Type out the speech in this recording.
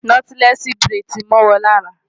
Nọ́tílẹ́ẹ̀sì buredì ti mọ́ wọn lára.